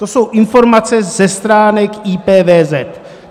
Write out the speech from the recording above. To jsou informace ze stránek IPVZ.